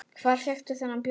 Hvar fékkstu þennan bjór?